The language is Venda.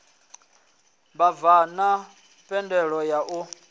vhabvann ḓa thendelo ya u